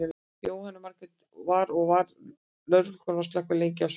Jóhanna Margrét: Og var, var lögregla og slökkvilið lengi á svæðið?